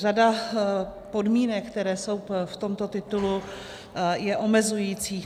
Řada podmínek, které jsou v tomto titulu, je omezujících.